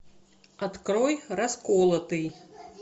открой расколотый